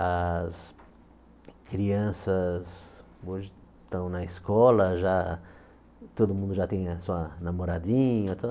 As crianças hoje estão na escola, já todo mundo já tem a sua namoradinha.